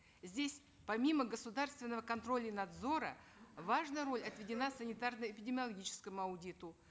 здесь помимо государственного контроля и надзора важная роль отведена санитарно эпидемиологическому аудиту